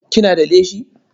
Kina da leshi?